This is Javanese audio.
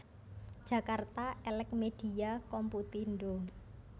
Jakarta Elex Media Komputindo